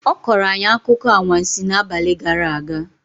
Ọ kọrọ anyị akụkọ anwansi n'abalị gara aga